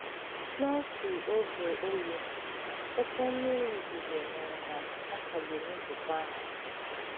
N'otu ògè oyi, okè mmìrì òzùzò mèré na a kagbùrù nzùkọ àhụ̀.